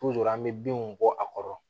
an bɛ binw bɔ a kɔrɔ